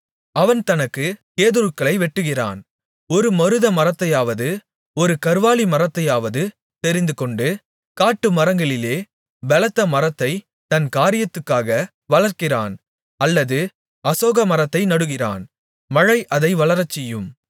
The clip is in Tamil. அவன் தனக்குக் கேதுருக்களை வெட்டுகிறான் ஒரு மருத மரத்தையாவது ஒரு கர்வாலிமரத்தையாவது தெரிந்துகொண்டு காட்டுமரங்களிலே பெலத்த மரத்தைத் தன் காரியத்துக்காக வளர்க்கிறான் அல்லது அசோக மரத்தை நடுகிறான் மழை அதை வளரச்செய்யும்